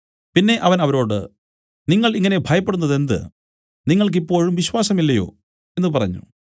പിന്നെ അവൻ അവരോട് നിങ്ങൾ ഇങ്ങനെ ഭയപ്പെടുന്നതെന്ത് നിങ്ങൾക്ക് ഇപ്പോഴും വിശ്വാസമില്ലയോ എന്നു പറഞ്ഞു